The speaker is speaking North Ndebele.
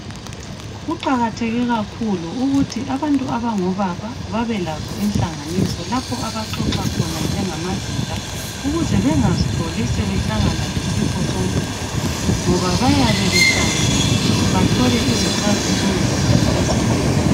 Kuqakatheke kakhulu ukuthi abantu abangobaba babelazo inhlanganiso lapho abaxoxa khona njengamadoda ukuze bengazitholi sebehlangana lesifo so ngoba bayabe behlangene bathole izixazululo kanye lezeluleko.